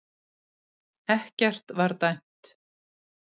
Ekkert var dæmt